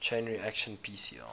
chain reaction pcr